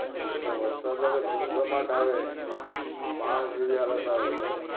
આટલ વરસાદ ઝૂમ જમાટ આવે બાઢ જેવી હાલત આવે તો